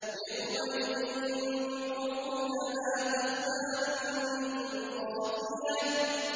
يَوْمَئِذٍ تُعْرَضُونَ لَا تَخْفَىٰ مِنكُمْ خَافِيَةٌ